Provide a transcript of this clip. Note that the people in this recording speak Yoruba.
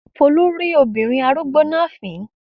Folú rín obìnrin arúgbó náà fìn-ín.